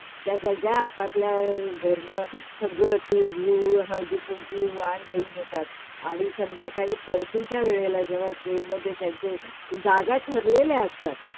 त्या सगळ्या आपापल्या घरनं सगल्या तिळगूळ, हळदीकुंकू, वाण घेऊन येतात आणि संध्याकाळी परतीच्या वेळेला जेव्हा ट्रेन मधे त्यांच्या जागा ठरलेले असतात.